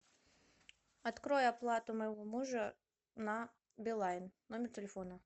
открой оплату моего мужа на билайн номер телефона